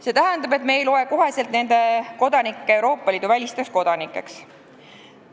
See tähendab, et me ei loe nende kodanikke otsekohe Euroopa Liidu välisteks kodanikeks.